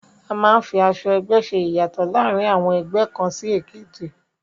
A máa ń fi aṣọ ẹgbẹ́ ṣe ìyàtọ̀ láàrin àwọn ẹgbẹ́ kàn sí èkejì